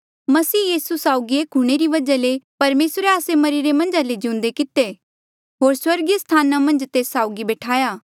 मसीह यीसू साउगी एक हूंणे री वजहा ले परमेसरे आस्से मरिरे मन्झ ले जिउंदे किते होर स्वर्गीय स्थाना मन्झ तेस साउगी बैठाया